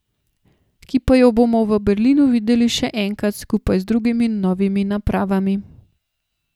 Ki pa jo bomo v Berlinu videli še enkrat skupaj z drugimi novimi napravami.